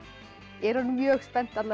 er orðin mjög spennt